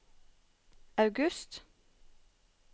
august